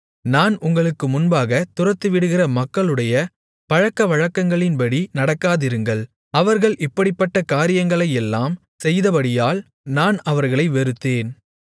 நான் உங்களுக்கு முன்பாகத் துரத்திவிடுகிற மக்களுடைய பழக்கவழக்கங்களின்படி நடக்காதிருங்கள் அவர்கள் இப்படிப்பட்ட காரியங்களையெல்லாம் செய்தபடியால் நான் அவர்களை வெறுத்தேன்